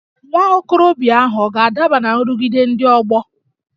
Nwa okorobịa ahụ ọ̀ ga-adaba ná nrụgide ndị ọgbọ?